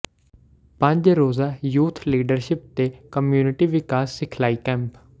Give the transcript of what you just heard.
ਪੰਜ ਰੋਜ਼ਾ youth leadership ਤੇ ਕਮਿਊਨਟੀ ਵਿਕਾਸ ਸਿਖਲਾਈ ਕੈਂਪ